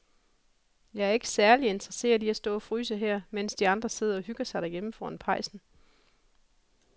Jeg er ikke særlig interesseret i at stå og fryse her, mens de andre sidder og hygger sig derhjemme foran pejsen.